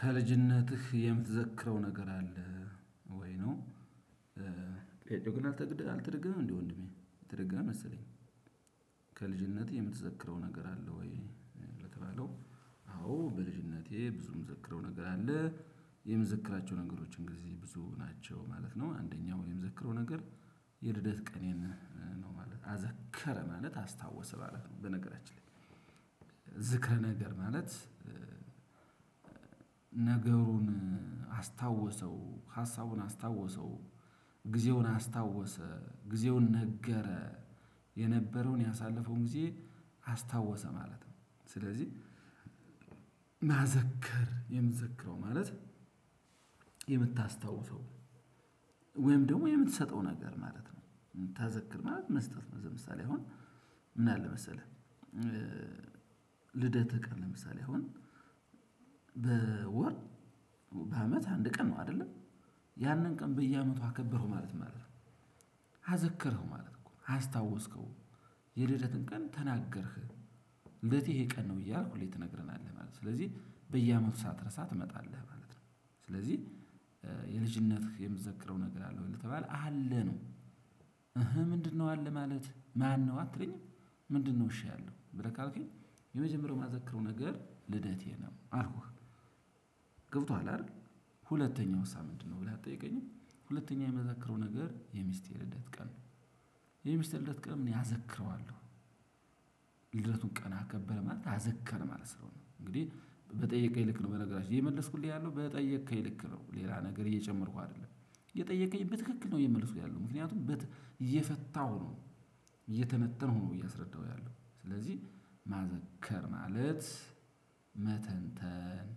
ከልጅነትህ የምትዘክረው ነገር አለ ወይ? ነው ግን አልተ አልተደገምም እንዴ ወንድሜ? ተደገመ መሰለኝ ከልጅነህ የምትዘክረው ነገር አለ ወይ? ለተባለው አዎ በልጅነቴ ብዙ ምዘክረው ነገር አለ። የምዘክራቸው ነገሮችን ጊዜ ብዙ ናቸው ማለት ነው። አንደኛው ምዘክረው ነገር የልደት ቀኔን ነው ማለት አዘከረ ማለት አስታወሰ ማለት ነው በነገራችን ላይ ዝክር ነገር ማለት ነገሩን አስታወሰው ሀሳቡን አስታወሰው ጊዜውን አስታወሰ ጊዜውን ነገረ የነበረውን ያሳለፈውን ጊዜ አስታወሰ ማለት ነው ስለዚህ ማዘከር የምትዘክረው ማለት የምታስታውሰው ወይም ደግሞ የምትሰጠው ነገር ማለት ነው ምታዘክር ማለት መስጠት ነው ምሳሌ አሁን ምን አለ መሰለህ ልደትህ ቀን ለምሳሌ አሁን በወር በአመት አንድ ቀን ነው አይደለ ያንን ቀን በየአመቱ አከበረው ማለት ነው አዘከረው ማለት እኮ ነው አስታወስከው የልደጥን ቀን ተናገርክ ልደቴ ይሄ ቀን ነው እያልክ ሁሌ ትነግረናለህ ማለት ነው። ስለዚህ በየአመቱ ሰትረሳ ትመጣለህ ማለት ነው ስለዚህ የልጅነትህ የምትዘክረው ነገር አለ ለተባለ አለ ነው እህ ምንድነው አለ ማለት ማነው አትለኝም ምንድነው እሺ ያለው ብለህ ካልኩኝ የመጀመሪያው ማዘክረው ነገር ልደቴ ነው አልኩህ ገብቶሃል አይደል ሁለተኛው ምንድነው ነው ብለህ አትጠይቀኝም ሁለተኛ የመዛክሩ ነገር የሚስቴ ልደት ቀን ነው የሚስቴ ልደት ቀን እኔ አዘክረዋለሁ ያዘክረዋለሁ። ልደቱን ቀን አከበረ ማለት አዘከረ ማለት ስለሆነ ነው እንግዲህ በጠየከኝ ልክ ነው በነገራችን ይሄ የመለስኩልኝ ያለው በጠየከኝ ልክ ነው ሌላ ነገር እየጨመርኩ አይደለም የጠየከኝ በትክክል ነው የምልሱ ያለው ምክንያቱም እየፈታው ነው እየተነተንኩ ነው እያስረዳው ያለው ስለዚህ ማዘከር ማለት መተንተን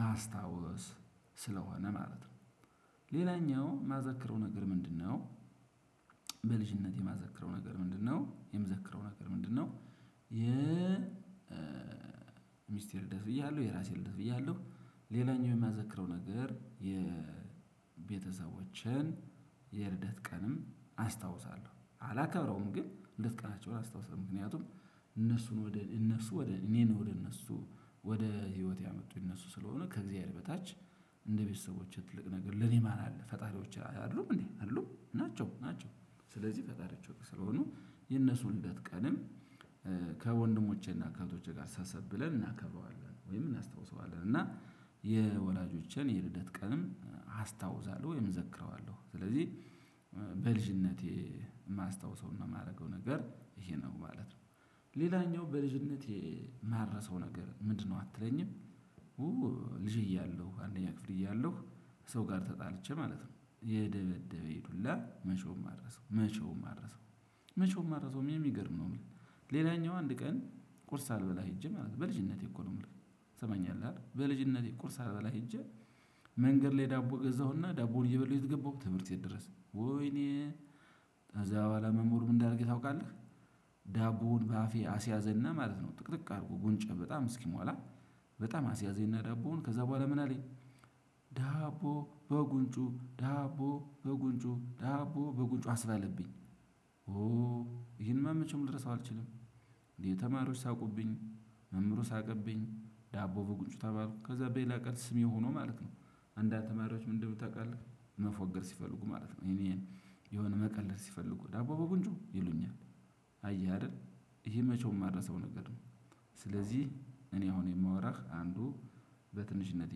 ማስታወስ ስለሆነ ማለት ነው ሌላኛው ማዘክረው ነገር ምንድነው በልጅነቴ የምዘክረው ነገር ምንድነው የምዘክረው ነገር ምንድነው የ ሚስቴ ልደት ብያለሁ የራሴ ብያለሁ ሌላኛው የሚያዘክረው ነገር የቤተሰቦችን የልደት ቀንም አስታውሳለሁ አላከብረውም ግን የልደት ቀናቸውን አስታውሳለሁ። ምክንያቱም እነሱን ወደ እነሱ ወደ እኔን ወደ እነሱ ወደ ህይወት ያመጡ እነሱ ስለሆነ ከእግዚአብሔር በታች እንደ ቤተሰቦቼ ትልቅ ነገር ለኔ ማን አለ ፈጣሪዎች አይደሉም እንዴ አይደሉም ናቸው ናቸው ስለዚህ ፈጣሪዎች ስለሆኑ የነሱን ልደት ቀንም ከወንድሞቼና ከእህቶቼ ጋር ሰብሰብ ብለን እናከብረዋለን ወይም እናስታውሰዋለን እና የወላጆችን የልደት ቀንም አስታውሳለሁ ወይም እዘክረዋለሁ ስለዚህ በልጅነቴ የማስታውሰው እና የማደርገው ነገር ይሄ ነው ማለት ነው ሌላኛው በልጅነት የማረሳው ነገር ምንድነው አትለኝም ልጅ እያለው አንደኛ ክፍል እያለው ሰው ጋር ተጣልቼ ማለት ነው የደበደበኝ ዱላ መቼዉም አልረሳም። መቼዉም አልረሳም። መቼዉም አልረሳም የምገድል ነው። ሌለኛው አንድ ቀን ቁርስ ሳልበላ ሄጄ በልጅነቴ እኮ ነው የምለው ት ሰማኛለህ አይደል በልጅነቴ ቁርስ ሳልበላ ሄጄ መንገድ ላይ ዳቦ ገዛሁና ዳቦውን እየበላሁ የት ገባው ብትል ትምህርት ቤት ደረሰኩ ወይኔ ከዛ በኋላ መምህሩ ምን እንዳረገኝ ታቃለህ ዳቦውን በአፌ አስያዘና ማለት ነው ጥቅጥቅ አድርጎ ጉንጭ በጣም እስኪሟላ በጣም አስያዜና ዳቦውን ከዛ በኋላ ምን አለኝ ዳቦ በጉንጩ ዳቦ በጉንጩ ዳቦ በጉንጩ አስባለብኝ። ይሄን መቼም ልረሰው አልችልም። እንዴ ተማሪዎች ሳቁብኝ መምህሩ ሳቀብኝ ዳቦ በጉንጩ ተባልኩ ከዛ በሌላ ቀን ስሜ የሆነው ማለት ነው አንዳንድ ተማሪዎች ምን እንደሚሉ ታውቃለህ መፎገር ሲፈልጉ ማለት ነው እኔን የሆነ መቀለድ ሲፈልጉ ዳቦ በጉንጮ ይሉኛል። አየህ አይደል ይሄ መቼም የማረሰው ነገር ነው ስለዚህ እኔ አሁን የማወራህ አንዱ በትንሽነት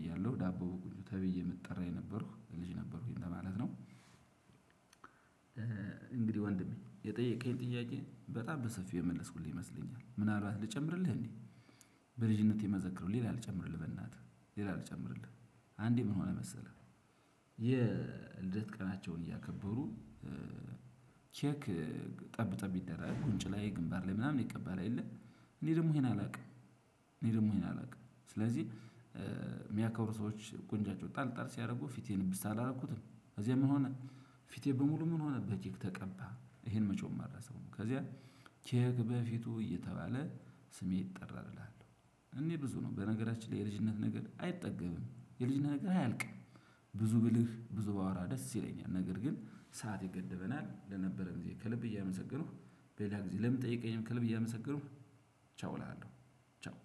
እያለሁ ዳቦ በጉንጩ ተብዬ የምትጠራ የነበርኩኝ ልጅ ነበርኩኝ ማለት ነው። እንግዲህ ወንድሜ የጠየከኝ ጥያቄ በጣም በሰፊው የመለስኩልኝ ይመስለኛል ምናልባት ልጨምርልህ እንዴ? በልጅነቴ መዘክር ሌላ ልጨምርልህ በእናትህ ሌላ ልጨምርልህ አንዴ ምን ሆነ መሰለህ የልደት ቀናቸውን እያከበሩ ቼክ ጠብ ጠብ ይደራርጋል ጉንጭ ላይ ግንባር ላይ ምናምን ይቀባ የለ እኔ ደግሞ ይሄን አላውቅም እኔ ደግሞ ይሄን አላውቅም ስለዚህ የሚያከብሩ ሰዎች ጉንጫቸው ጠል ጠል ሲያደርጉ ፊቴን እብስ አላደረኩትም ከዚያ ምን ሆነ ፊቴ በሙሉ ምን ሆነ በኬክ ተቀባ ይሄን መቼዉም አልረሳውም ከዚያ ኬክ በፊቱ እየተባለ ስሜ ይጠራልልሃል እኔ ብዙ ነው በነገራችን ላይ የልጅነት ነገር አይጠገብም የልጅነት ነገር አያልቅም። ብዙ ብልህ ብዙ ባወራ ደስ ይለኛል ነገር ግን ሰዓት ይገደበናል ለነበረን ጊዜ ከልብ እያመሰገንኩ በሌላ ጊዜ ለምጠይቀኝም ከልብ እያመሰገንኩ ቻው እላለሁ ቻው።